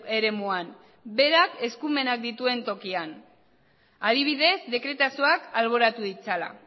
eremuan berak eskumenak dituen tokian adibidez dekretazoak alboratu ditzala